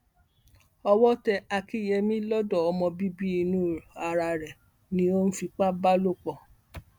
owó tẹ akinyemi lọdọ ọmọ bíbí inú ara rẹ ló ń fipá bá lò pọ